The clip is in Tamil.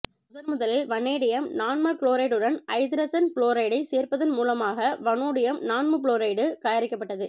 முதன்முதலில் வனேடியம் நான்மகுளோரைடுடன் ஐதரசன் புளோரைடை சேர்ப்பதன் மூலமாக வனேடியம் நான்மபுளோரைடு தயாரிக்கப்பட்டது